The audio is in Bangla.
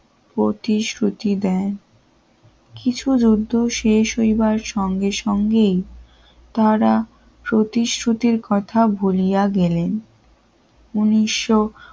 প্রতিশ্রুতি দেয় কিছু যুদ্ধ শেষ হইবার সঙ্গে সঙ্গেই তারা প্রতিশ্রুতির কথা ভুলিয়া গেলেন উন্নিশ